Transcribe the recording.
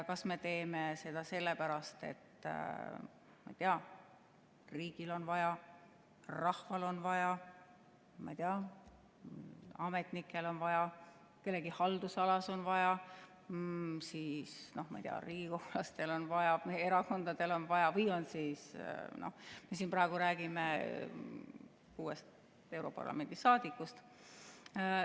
Kas me teeme seda sellepärast, et riigil on vaja, rahval on vaja, ma ei tea, ametnikel on vaja, kellegi haldusalas on vaja, siis, ma ei tea, riigikogulastel on vaja, meie erakondadel on vaja või on siis vaja europarlamendi liikmetel, me räägime siin praegu kuuest europarlamendi liikmest.